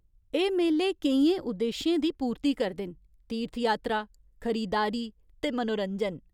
एह् मेले केइयें उद्देश्यें दी पूर्ती करदे न तीर्थयात्रा, खरीदारी ते मनोरंजन।